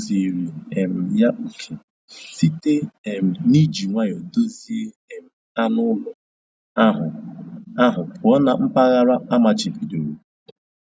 Ha kụziri um ya oke site um n'iji nwayọ duzie um anụ ụlọ ahụ ahụ pụọ na mpaghara amachibidoro